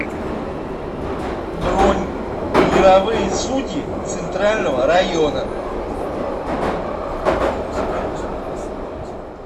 бронь мировые судьи центрального района